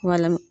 Wala